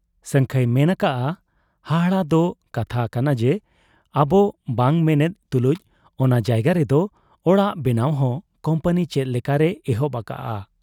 ᱥᱟᱹᱝᱠᱷᱟᱹᱭ ᱢᱮᱱ ᱟᱠᱟᱜ ᱟ ᱦᱟᱦᱟᱲᱟ ᱫᱚ ᱠᱟᱛᱷᱟ ᱠᱟᱱᱟ ᱡᱮ ᱟᱵᱚ ᱵᱟᱝ ᱢᱮᱱᱮᱫ ᱛᱩᱞᱩᱡ ᱚᱱᱟ ᱡᱟᱭᱜᱟ ᱨᱮᱫᱚ ᱚᱲᱟᱜ ᱵᱮᱱᱟᱣ ᱦᱚᱸ ᱠᱩᱢᱯᱟᱹᱱᱤ ᱪᱮᱫ ᱞᱮᱠᱟᱨᱮᱭ ᱮᱦᱚᱵ ᱟᱠᱟᱜ ᱟ ᱾